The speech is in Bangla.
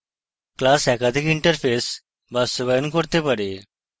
class একাধিক interfaces বাস্তবায়ন করতে পারে